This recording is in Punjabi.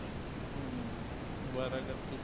ਹਮ, ਅਵਾਰਾਗਰਦੀ